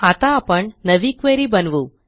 आता आपण नवी क्वेरी बनवू